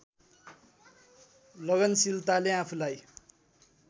लगनशीलताले आफूलाई